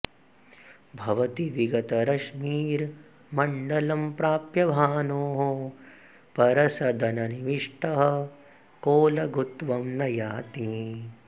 भवति विगतरश्मिर्मण्डलं प्राप्य भानोः परसदननिविष्टः को लघुत्वं न याति